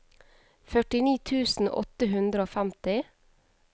førtini tusen åtte hundre og femti